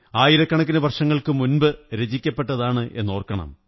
ആയിരക്കണക്കിന് വര്ഷചങ്ങള്ക്കുാ മുമ്പ് രചിക്കപ്പെട്ടതാണെന്നോര്ക്കകണം